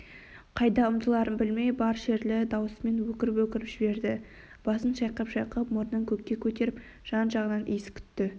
қайда ұмтыларын білмей бар шерлі даусымен өкіріп-өкіріп жіберді басын шайқап-шайқап мұрнын көкке көтеріп жан-жағынан иіс күтті